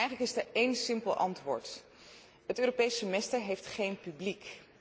Eigenlijk is er één simpel antwoord het Europees semester heeft geen publiek.